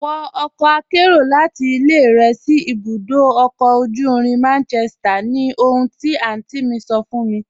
Wọ ọkọ àkẹ́ro láti ilẹ̀ rẹ sí ibùdó ọ̀kọ̀ ojú irin Manchester ni ohùn ti àntí mi sọ̀ fún mi.